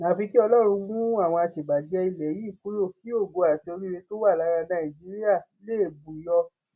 àfi kí ọlọrun mú àwọn àṣebàjẹ ilẹ yìí kúrò kí ògo àti oríire tó wà lára nàìjíríà lè bù yọ